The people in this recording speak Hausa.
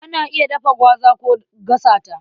Ana iya dafa gwaza ko a gasa ta.